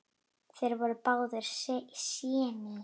Þeir voru báðir séní.